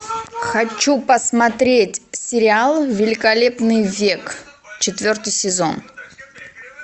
хочу посмотреть сериал великолепный век четвертый сезон